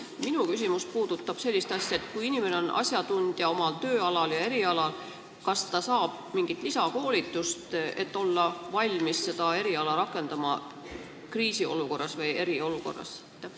Minu küsimus puudutab sellist asja, et kui inimene on asjatundja oma erialal, kas ta saab siis mingit lisakoolitust, et olla valmis seda eriala rakendama kriisi- või eriolukorras?